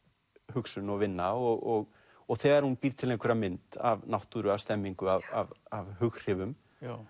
hugsun og vinna og og þegar hún býr til einhverja mynd af náttúru af stemningu af af hughrifum